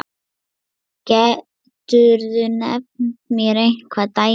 Geturðu nefnt mér einhver dæmi?